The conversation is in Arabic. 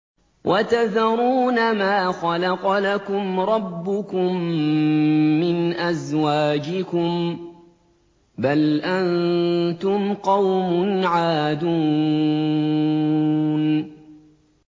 وَتَذَرُونَ مَا خَلَقَ لَكُمْ رَبُّكُم مِّنْ أَزْوَاجِكُم ۚ بَلْ أَنتُمْ قَوْمٌ عَادُونَ